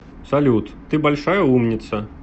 салют ты большая умница